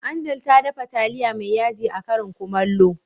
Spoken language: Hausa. Angel ta dafa taliya mai yaji a karin Kumallo.